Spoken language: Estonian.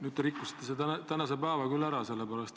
Nüüd te rikkusite tänase päeva ära.